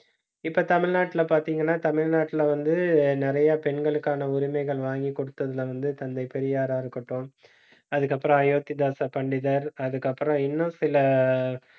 இப்ப தமிழ்நாட்டுல பார்த்தீங்கன்னா, தமிழ்நாட்டுல வந்து நிறைய பெண்களுக்கான உரிமைகள் வாங்கி கொடுத்ததுல வந்து தந்தை பெரியாரா இருக்கட்டும் அதுக்கப்புறம் அயோத்திதாச பண்டிதர் அதுக்கப்புறம் இன்னும் சில